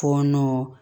Fɔɔnɔ